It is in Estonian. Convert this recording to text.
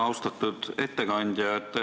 Austatud ettekandja!